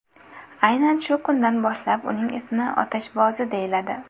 Aynan shu kundan boshlab uning ismi Otashbozi deyiladi.